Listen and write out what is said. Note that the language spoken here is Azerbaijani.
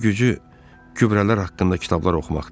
İşi gücü gübrələr haqqında kitablar oxumaqdır.